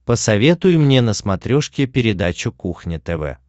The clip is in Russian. посоветуй мне на смотрешке передачу кухня тв